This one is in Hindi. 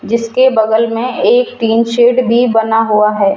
जिसके बगल में एक टीन सीट भी बना हुआ है।